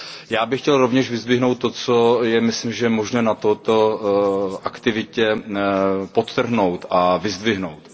Já bych chtěl rovněž vyzdvihnout to, co je, myslím si, možné na této aktivitě podtrhnout a vyzdvihnout.